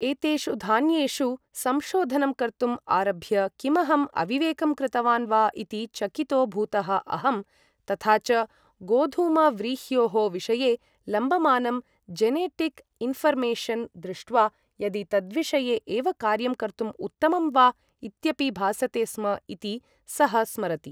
एतेषु धान्येषु संशोधनं कर्तुं आरभ्य किमहं अविवेकं कृतवान् वा इति चकितो भूतः अहम्। तथा च, गोधूमव्रीह्योः विषये लम्बमानं जेनेटिक् इन्ऴर्मेशन् दृष्ट्वा यदि तद्विषये एव कार्यं कर्तुं उत्तमं वा इत्यपि भासते स्म इति सः स्मरति।